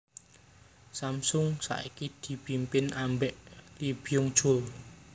Samsung saiki dipimpin ambek Lee Byung chul